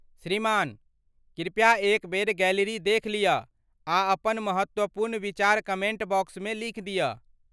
श्रीमान, कृपया एक बेर गैलरी देखि लियऽ आ अपन महत्वपूर्ण विचार कमेन्ट बॉक्समे लिखि दियऽ।